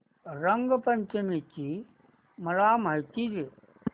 रंग पंचमी ची मला माहिती दे